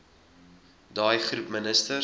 daai groep minstens